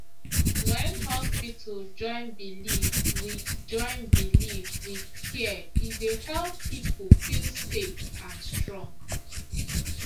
when hospital join belief with join belief with care e dey help people feel safe and strong